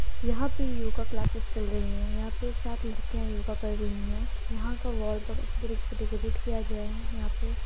यहाँ पे yoga classes चल रही है यहाँ पे सात लड़कीयां योगा कर रही है यहाँ का वाल बहुत अच्छे तरह से डेकोरैट किया गया है यहाँ पे --